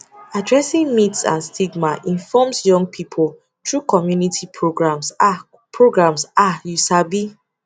addressing myths and stigma informs young people through community programs ah programs ah you sabi